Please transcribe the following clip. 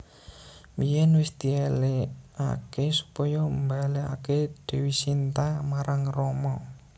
Biyèn wis dièlikaké supaya mbalèkaké Dèwi Sinta marang Rama